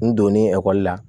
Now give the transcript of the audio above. N donnen ekɔli la